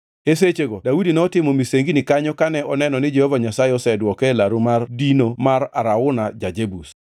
E sechego Daudi notimo misengini kanyo kane oneno ni Jehova Nyasaye osedwoke e laru mar dino mar Arauna ja-Jebus.